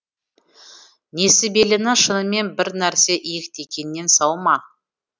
несібеліні шынымен бір нәрсе иектегеннен сау ма